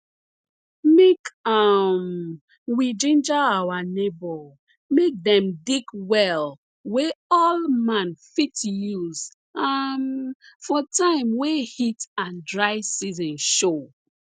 make um we ginger our neighbor make dem dig well wey all man fit use um for time wey heat and dry season show